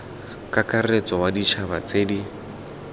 kakaretso wa ditšhaba tse di